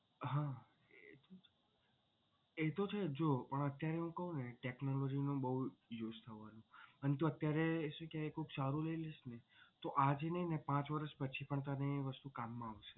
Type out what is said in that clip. હા એ તો છે જો પણ અત્યારે હું કહું ને technology નો બહુ use થવો અને તું અત્યારે તું કઈક સારું લઈ લઇશ ને તો આજે નહીં પાંચ વર્ષ પછી પણ તને એ વસ્તુ કામમાં આવશે.